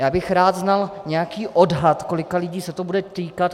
Já bych rád znal nějaký odhad, kolika lidí se to bude týkat.